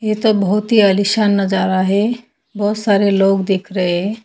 ये तो बहुत ही आलीशान नजारा है बहोत सारे लोग देख रहे--